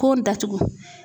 Kon datugu.